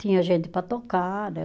Tinha gente para tocar, né?